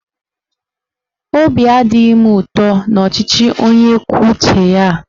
Obi adịghị m ụtọ n'ọchịchị onye kwuo uche ya a.